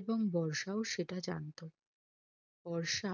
এবং বর্ষাও সেটা জানতো বর্ষা